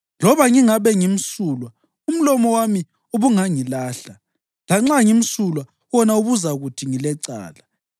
Loba ngingabe ngimsulwa, umlomo wami ubungangilahla; lanxa ngimsulwa wona ubuzakuthi ngilecala.